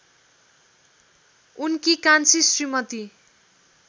उनकी कान्छी श्रीमती